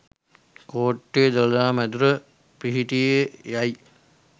කෝට්ටේ දළදා මැදුර පිහිටියේ යැයි